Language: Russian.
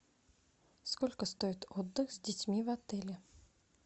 сколько стоит отдых с детьми в отеле